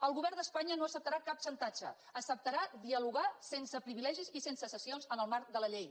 el govern d’espanya no acceptarà cap xantatge acceptarà dialogar sense privilegis i sense cessions en el marc de la llei